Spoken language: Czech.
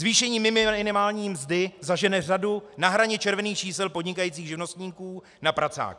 Zvýšení minimální mzdy zažene řadu na hraně červených čísel podnikajících živnostníků na pracák.